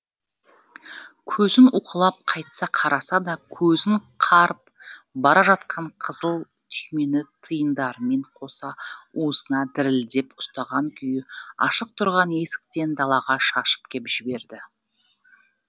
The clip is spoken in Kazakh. көзін уқалап қайта қараса да көзін қарып бара жатқан қызыл түймені тиындармен қоса уысына дірілдеп ұстаған күйі ашық тұрған есіктен далаға шашып кеп жіберді